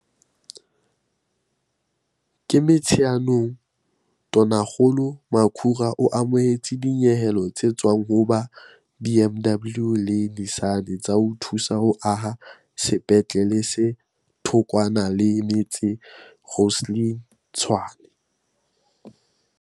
Ka Motsheanong, Tonakgolo Makhura o amohetse dinyehelo tse tswang ho ba BMW le Nissan tsa ho thusa ho aha sepetlele se thokwana le metse Rosslyn, Tshwane.